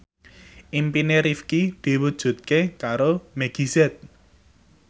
impine Rifqi diwujudke karo Meggie Z